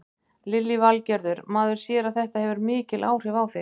Lillý Valgerður: Maður sér að þetta hefur mikil áhrif á þig?